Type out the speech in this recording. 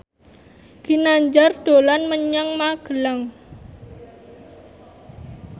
Ginanjar dolan menyang Magelang